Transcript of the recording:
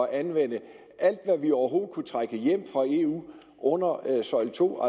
at anvende alt hvad vi overhovedet kunne trække hjem fra eu under søjle to